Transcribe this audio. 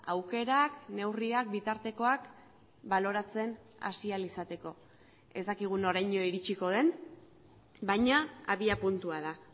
aukerak neurriak bitartekoak baloratzen hasi ahal izateko ez dakigu noraino iritsiko den baina abiapuntua da